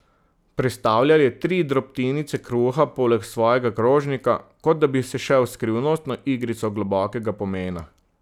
Prestavljal je tri drobtinice kruha poleg svojega krožnika, kot da bi se šel skrivnostno igrico globokega pomena.